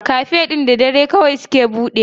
Cafe ɗin da dare kawai suke budewa.